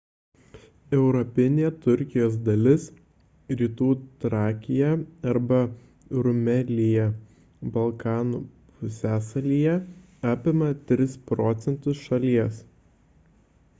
europinė turkijos dalis rytų trakija arba rumelija balkanų pusiasalyje apima 3 % šalies